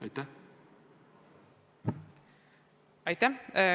Aitäh!